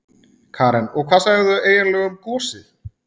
Karen: Og hvað segja þau eiginlega um gosið?